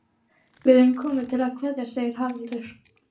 Við erum komin til að kveðja, segir Haraldur.